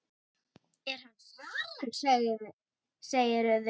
Er hann farinn, segirðu?